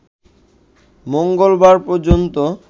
মঙ্গলবার পর্যন্ত